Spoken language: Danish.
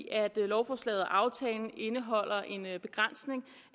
at lovforslaget og aftalen indeholder en begrænsning